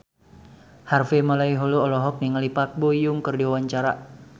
Harvey Malaiholo olohok ningali Park Bo Yung keur diwawancara